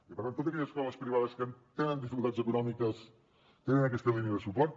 i per tant totes aquelles escoles privades que tenen dificultats econòmiques tenen aquesta línia de suport